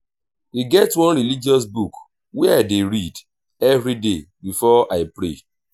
e get one religious book wey i dey read everyday before i pray.